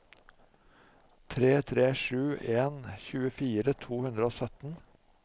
tre tre sju en tjuefire to hundre og sytten